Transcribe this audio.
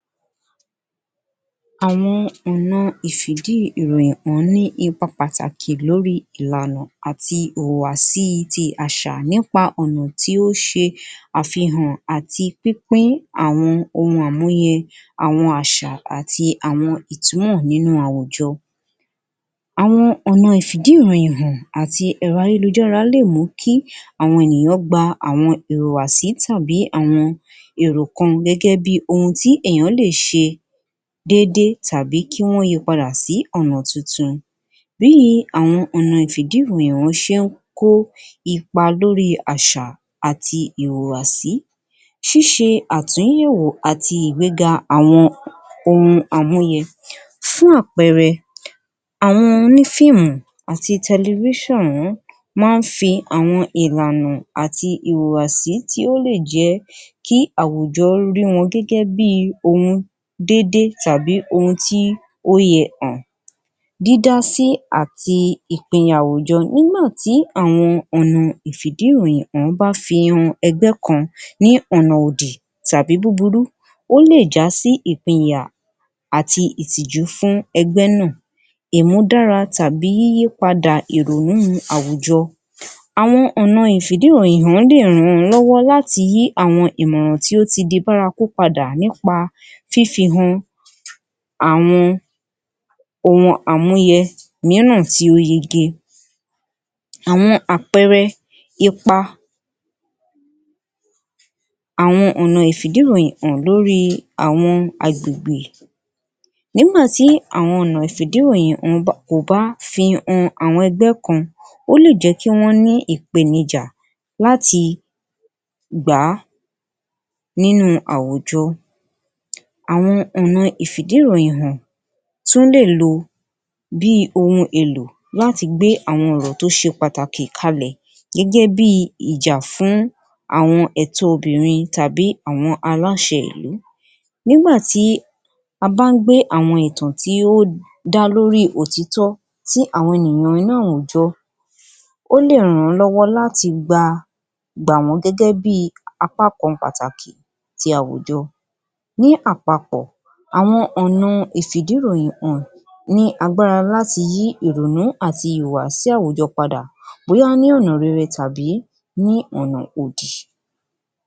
Àwọn ọ̀ran ìfi ìdí ìròyìn hàn ní ipa pàtàkì lórí ìranù àti ìhùwàsí títí àṣà nípa ọ̀nà tí ó ṣe àfihàn àti pínpín àwọn ohun àmúyẹ àwọn àṣà àti àwọn ìtumọ̀ nínú àwùjọ. Àwọn ọ̀nà ìfi ìdí ìròyìn hàn àti èrọ ayélujára lè mú kí àwọn ènìyàn gbà àwọn ìhùwàsí tàbí àwọn èrò kan gẹ́gẹ́ bí ohun tí èèyàn lè ṣe dédé tàbí kí wọ́n yi padà sí ọ̀nà tuntun. Bí àwọn ọ̀nà ìfi ìdí ìròyìn hàn ṣe ń kó ipa lórí àṣà àti ìhùwàsí, ṣiṣẹ́ àtúnyẹ̀wọ̀ àti àgbéga àwọn ohun àmúyẹ. Fún àpẹẹrẹ àwọn onífíìmù àti máa ń fi àwọn ìranù hàn àti ìhùwàsí tí ó lè jẹ́ kí àwùjọ rí wọn bí ohun dédé tàbí ohun tí ó yẹ hàn. Dídá sí àti ìpínyà àwùjọ nígbà tí àwọn ọ̀nà ìfi ìdí ìròyìn hàn bá fi ẹgbẹ́ kan ni ọ̀nà òdì tàbí búburú, ó lè já sí ìpínyà àti ìtìjú fún ẹgbẹ́ náà ìmúdára tàbí yíyí padà ìrònú àwùjọ. Àwọn ọ̀nà ìfi ìdí ìròyìn hàn lè ràn lọ́wọ́ láti yí àwọn ìmọ̀ràn tí ó ti di bárakú padà nípa fífi han àwọn ohun àmúyẹ mìíràn tí ó yege. Àwọn àpẹẹrẹ ipa àwọn ọ̀nà ìfi ìdí ìròyìn hàn lórí àwọn agbègbè. Nígbà tí àwọn ọ̀nà ìfi ìdí ìròyìn hàn kò bá fi han àwọn ẹgbẹ́ kan, ó lè jẹ́ kí wọ́n ni ìpènijà láti gbà á nínú àwùjọ. Àwọn ọ̀nà ìfi ìdí ìròyìn hàn tún lè lo bí ohun èlò láti gbé àwọn ọ̀rọ̀ tí ó ṣe pàtàkì kalẹ̀ gẹ́gẹ́ bíi ìjà fún àwọn ẹ̀tọ obìnrin tàbí àwọn aláṣẹ ìlú, nígbà tí a bá ń gbé àwọn ìtàn tí ó dá lórí òtítọ́ tí àwọn ènìyàn nínú àwùjọ, ó lè ràn wọ́n lọ́wọ́ láti gba wọ́n gẹ́gẹ́ bí apákan pàtàkì tí àwùjọ. Ní àpapọ̀ àwọn ọ̀nà ìfi ìdí ìròyìn hàn ní agbára láti yí ìrònú àti ìwà sí àwùjọ padà bóyá ní ọ̀nà rere tàbí ní ọ̀nà òdì